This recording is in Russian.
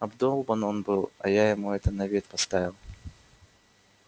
обдолбан он был а я ему это на вид поставил